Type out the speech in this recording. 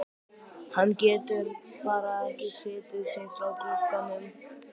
Hann getur bara ekki slitið sig frá glugganum.